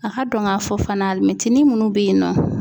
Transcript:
A ka dɔn k'a fɔ fana alimɛtinin minnu bɛ yen nɔ.